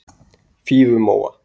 Fífumóa